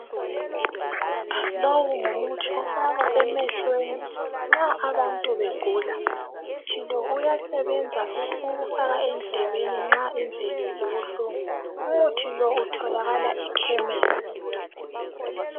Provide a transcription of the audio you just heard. Lowu ngumuthi ofakwa emehlweni nxa abantu begula umuthi lo uyasebenza futhi ukufaka endlebeni nxa indlebe zibublungu umuthi lo utholakala ekhemesi.